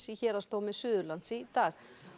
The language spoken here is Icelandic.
í Héraðsdómi Suðurlands í dag